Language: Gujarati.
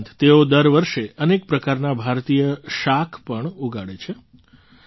તે ઉપરાંત તેઓ દર વર્ષે અનેક પ્રકારનાં ભારતીય શાકો પણ ઉગાડે છે